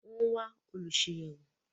Wọ́n wá “Olùsàyẹ̀wò”.